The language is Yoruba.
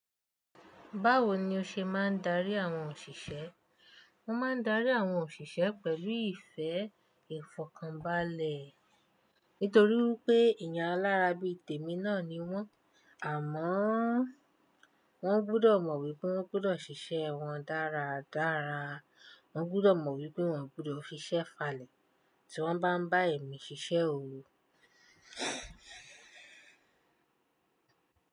Báwo ni o ṣe máa ń darí àwọn òṣìṣẹ́? Mo máa ń darí àwọn òṣìṣẹ́ pẹ̀lú ìfẹ́ ìfọ̀kànbalẹ̀. Nítorí wípé èèyàn alárábi tèmi náà ni wọ́n. Àmọ́ wọ́n gbọ́dọ̀ mọ̀ wípé wọ́n gbọ́dọ̀ ṣiṣẹ́ wọn dára dára. Wọn gbọ́dọ̀ mọ̀ wípé wọ́n ò gbọ́dọ̀ fiṣẹ́ falẹ̀ tí wọ́n bá ń bá èmi ṣiṣẹ́ òwò.